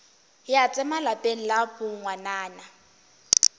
ya tsema lapeng la bongwanana